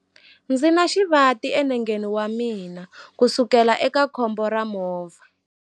Ndzi na xivati enengeni wa mina kusukela eka khombo ra movha.